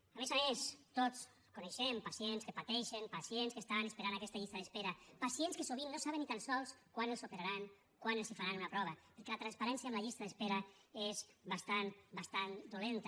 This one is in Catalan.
a més a més tots coneixem pacients que pateixen pacients que estan esperant en aquesta llista d’espera pacients que sovint no saben ni tan sols quan els operaran quan els faran una prova perquè la transparència en la llista d’espera és bastant bastant dolenta